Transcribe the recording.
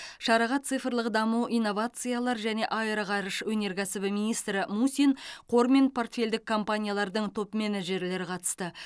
шараға цифрлық даму инновациялар және аэроғарыш өнеркәсібі министрі мусин қор мен портфельдік компаниялардың топ менеджерлері қатысты